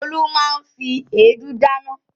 Olú máa ń fi èédú dáná.